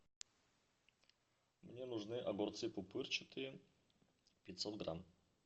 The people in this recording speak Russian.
мне нужны огурцы пупырчатые пятьсот грамм